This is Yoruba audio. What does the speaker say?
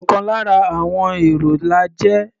Ọ̀kan lára àọn èrò la jẹ́.